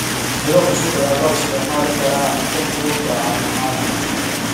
Miro cusub ayaa loo isticmaali karaa cunto fudud oo caafimaad leh.